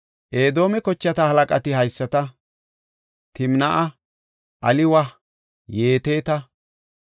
Edoome kochata halaqati haysata; Timnaa7a, Aliwa, Yeteta,